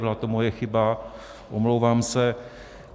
Byla to moje chyba, omlouvám se.